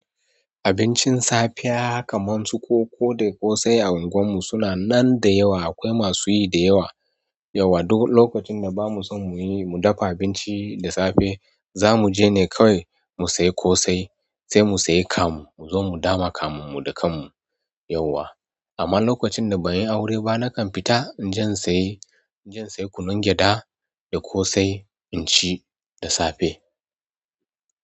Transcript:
Abincin safiya kamar su koko da ƙosai a unguwar mu suna nan da yawa, akwai masu yi da yawa. Yauwa duk lokacin da ba mu so mu yi, mu dafa abinci da safe, za mu je ne kawai mu sayi ƙosai, sai mu sayi kamu mu zo mu dama kamun mu da kan mu yauwa. Amma lokacin da ban yi aure ba, na kan fita, in je in saye, in je in sayi kunun gyaɗa da ƙosai in ci da safe.